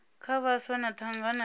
kha vhaswa na thangana ya